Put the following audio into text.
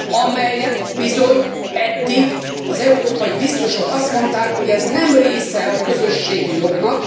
amelyről bizony eddig az európai biztosok azt mondták, hogy ez nem része a közösségi jognak.